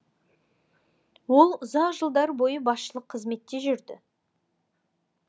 ол ұзақ жылдар бойы басшылық қызметте жүрді